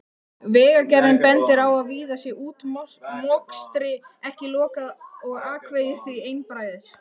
Vegagerðin bendir á að víða sé útmokstri ekki lokið og akvegir því einbreiðir.